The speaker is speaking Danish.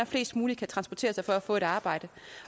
flest muligt kan transportere sig for at få et arbejde